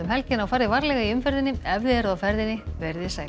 helgina og farið varlega í umferðinni ef þið eruð á ferðinni veriði sæl